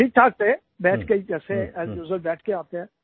ठीकठाक थे बैठ के जैसे उसमें बैठ के आते हैं